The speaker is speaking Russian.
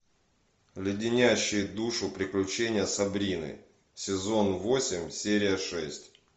леденящие душу приключения сабрины сезон восемь серия шесть